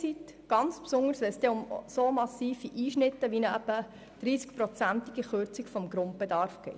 Das gilt ganz besonders dann, wenn es um dermassen massive Einschnitte wie eine Kürzung von 30 Prozent des Grundbedarfs geht.